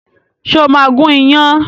Ṣé o máa gún iyán?